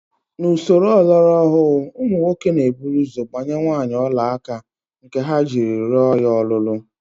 N'usoro ọlọrọọhụụ, ụmụ nwoke na-eburu ụzọ gbanye nwaanyị ọlaaka nke ha ji rịọ ya ọlụlụ